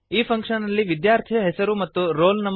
ಈ ಫಂಕ್ಶನ್ ನಲ್ಲಿ ವಿದ್ಯಾರ್ಥಿಯ ಹೆಸರು ಮತ್ತು ರೋಲ್ ನಂ